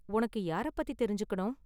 உனக்கு யார பத்தி தெரிஞ்சுக்கணும்?